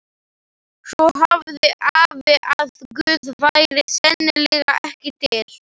Svo sagði afi að Guð væri sennilega ekki til.